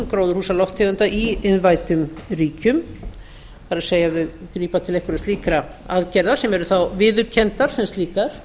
gróðurhúsalofttegunda í iðnvæddum ríkjum það er ef þau grípa til einhverra slíkra aðgerða sem eru þá viðurkenndar sem slíkar